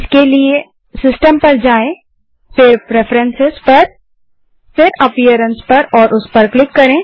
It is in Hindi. इसके लिए सिस्टम पर जाएँ फिर प्रेफरेंस फिर अपीयरेंस पर क्लिक करें